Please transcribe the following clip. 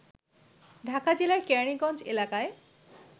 ঢাকা জেলার কেরানীগঞ্জ এলাকায়